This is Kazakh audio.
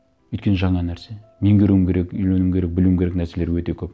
өйткені жаңа нәрсе меңгеруім керек үйренуім керек білуім керек нәрселер өте көп